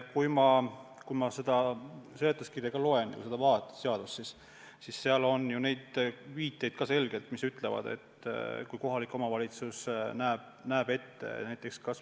Kui ma ka seda seletuskirja loen ja vaatan seda seadust, siis seal on ju selgeid viiteid, mis ütlevad, et kohalik omavalitsus võib palju otsustada.